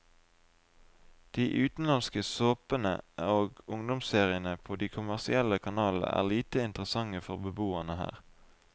De utenlandske såpene og ungdomsseriene på de kommersielle kanalene er lite interessante for beboerne her.